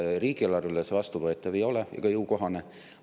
Riigieelarvele see vastuvõetav ja jõukohane ei ole.